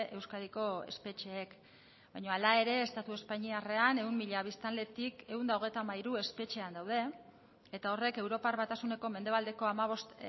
euskadiko espetxeek baino hala ere estatu espainiarrean ehun mila biztanletik ehun eta hogeita hamairu espetxean daude eta horrek europar batasuneko mendebaldeko hamabost